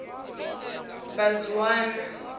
mbazwana